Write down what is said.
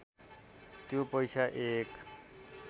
त्यो पैसा एक